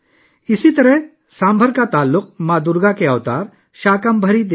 اسی طرح سامبھر کا تعلق شکمبھری دیوی سے بھی ہے، جو ماں درگا کے اوتار ہیں